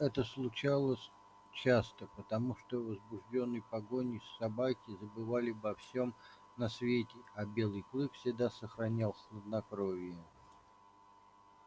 это случалось часто потому что возбуждённые погоней собаки забывали обо всем на свете а белый клык всегда сохранял хладнокровие